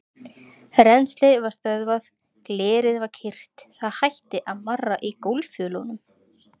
Rennslið var stöðvað, glerið var kyrrt, það hætti að marra í gólffjölunum.